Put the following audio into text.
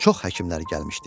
Çox həkimlər gəlmişdi.